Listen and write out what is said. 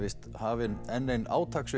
hafin enn ein